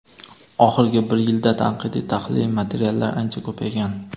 oxirgi bir yilda tanqidiy-tahliliy materiallar ancha ko‘paygan.